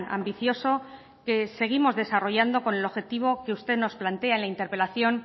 ambicioso que seguimos desarrollando con el objetivo que usted nos plantea en la interpelación